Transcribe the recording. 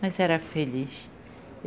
Mas era feliz.